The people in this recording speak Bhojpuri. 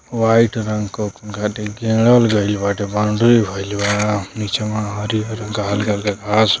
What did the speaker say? वाइट रंग का हेदे घेरल गइल वटे बाउंडरी भईल वा निचवां हरी-हरी हल्के-हल्के घाँस --